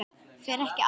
Fer ekki allt í hnút?